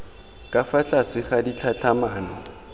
ka fa tlase ga ditlhatlhamano